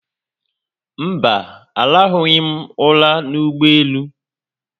Mba, arahụghị̀m ụra n'ụgbọelu